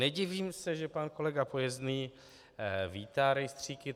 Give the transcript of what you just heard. Nedivím se, že pan kolega Pojezný vítá rejstříky.